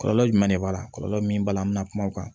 Kɔlɔlɔ jumɛn de b'a la kɔlɔlɔ min b'a la an bɛna kuma o kan